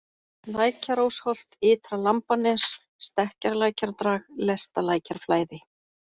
Lækjarósholt, Ytra-Lambanes, Stekkjarlækjardrag, Lestalækjarflæði